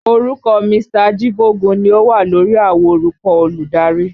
Orúkọ Mr. Ajíbógun ni ó wà lórí àwo orúkọ olùdarí